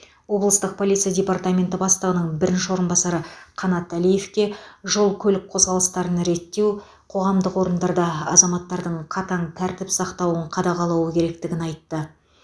облыстық полиция департаменті бастығының бірінші орынбасары қанат әлиевке жол көлік қозғалыстарын реттеу қоғамдық орындарда азаматтардың қатаң тәртіп сақтауын қадағалауы керектігін айтты